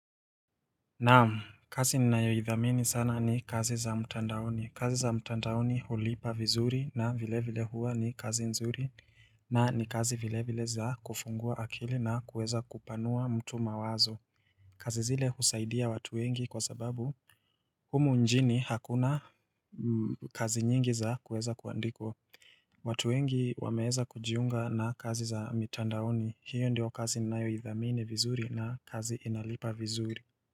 Naam, kazi ni nayoidhamini sana ni kazi za mtandaoni. Kazi za mtandaoni hulipa vizuri na vile vile huwa ni kazi nzuri na ni kazi vile vile za kufungua akili na kuweza kupanua mtu mawazo. Kazi zile husaidia watu wengi kwa sababu humu njini hakuna kazi nyingi za kuweza kuandikwa. Watuengi wameeza kujiunga na kazi za mtandaoni. Hiyo ndio kazi ni nayoidhamini vizuri na kazi inalipa vizuri.